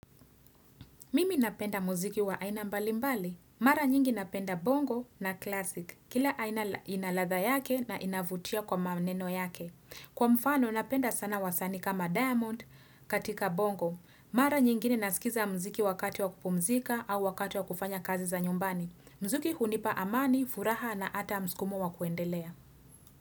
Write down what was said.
Mimi napenda muziki wa aina mbalimbali. Mara nyingi napenda bongo na classic. Kila aina ina ladha yake na inavutia kwa maneno yake. Kwa mfano napenda sana wasanii kama Diamond katika bongo. Mara nyingi ninaskiza muziki wakati wa kupumzika au wakati wa kufanya kazi za nyumbani. Muziki hunipa amani, furaha na ata mskumo wa kuendelea.